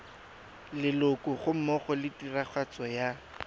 leloko gammogo le tiragatso ya